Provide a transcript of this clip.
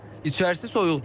İçərisi soyuqdur.